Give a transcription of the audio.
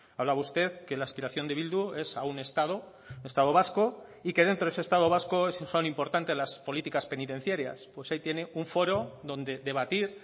hablaba usted que la aspiración de bildu es a un estado estado vasco y que dentro de ese estado vasco son importante las políticas penitenciarias pues ahí tiene un foro donde debatir